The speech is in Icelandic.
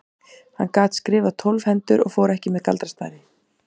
Hann gat skrifað tólf hendur og fór þó ekki með galdrastafi.